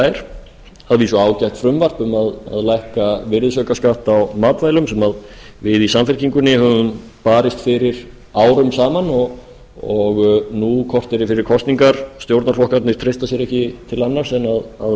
vísu ágætt frumvarp um að lækka virðisaukaskatt á matvælum sem við í samfylkingunni höfum barist fyrir árum saman og nú korteri fyrir kosningar stjórnarflokkarnir treysta sér ekki til annars en verða